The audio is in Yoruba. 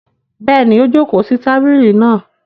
Bẹ́ẹ̀ni, ó jókòó sí tábìlì náa.